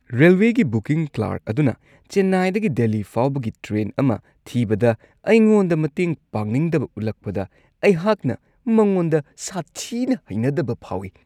ꯔꯦꯜꯋꯦꯒꯤ booking clerk ꯑꯗꯨꯅ ꯆꯦꯟꯅꯥꯏꯗꯒꯤ ꯗꯦꯜꯂꯤ ꯐꯥꯎꯕꯒꯤ ꯇ꯭ꯔꯦꯟ ꯑꯃ ꯊꯤꯕꯗ ꯑꯩꯉꯣꯟꯗ ꯃꯇꯦꯡ ꯄꯥꯡꯅꯤꯡꯗꯕ ꯎꯠꯂꯛꯄꯗ ꯑꯩꯍꯥꯛꯅ ꯃꯉꯣꯟꯗ ꯁꯥꯊꯤꯅ ꯍꯩꯅꯗꯕ ꯐꯥꯎꯏ ꯫